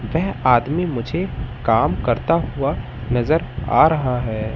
यह आदमी मुझे काम करता हुआ नज़र आ रहा है।